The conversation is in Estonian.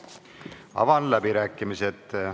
Avan läbirääkimised.